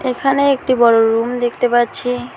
এখানে একটি বড় রুম দেখতে পাচ্ছি।